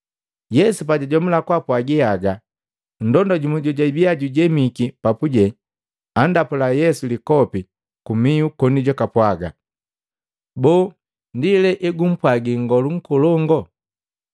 Yesu pajajomula kupwaaga haga, nndonda jumu jojabii jujemiki papu andapula Yesu likopi kumihu koni jupwaaga, “Boo ndi le egumpwagi Nngolu Nkolongo?”